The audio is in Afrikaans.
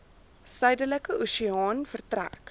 suidelike oseaan vertrek